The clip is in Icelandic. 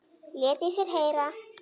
Lét í sér heyra.